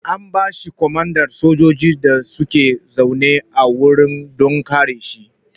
An bashi komandan sojoji da suke zaune a wuri don kare shi